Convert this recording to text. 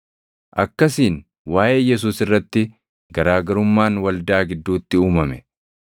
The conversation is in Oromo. Akkasiin waaʼee Yesuus irratti garaa garummaan waldaa gidduutti uumame.